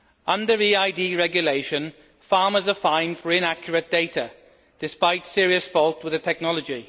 Under EID regulations, farmers are fined for inaccurate data, despite serious faults with the technology.